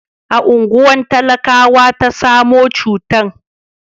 a unguwa talakawa ta samo cutan